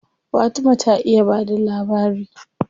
Fatima ta iya ba da labari.